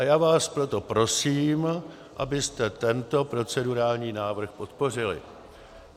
A já vás proto prosím, abyste tento procedurální návrh podpořili.